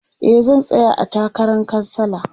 e zan tsaya a takaran kansala